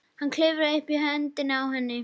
Hann klifrar upp á höndina á henni.